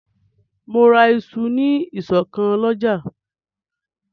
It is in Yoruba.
Mò ń ra isu ní ìsọ̀ kan lọ́jà